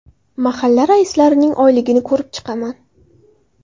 Mahalla raislarining oyligini ko‘rib chiqaman.